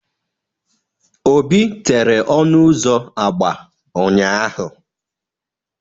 Obi tere ọnụ ụzọ agba ụnyahụ.